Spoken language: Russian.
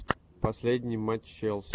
последний матч челси